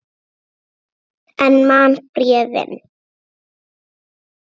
En man bréfin.